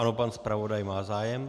Ano, pan zpravodaj má zájem.